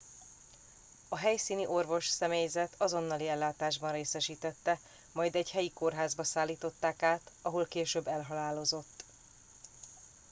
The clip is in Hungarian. a helyszíni orvosi személyzet azonnali ellátásban részesítette majd egy helyi kórházba szállították át ahol később elhalálozott